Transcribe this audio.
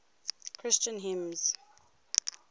christian hymns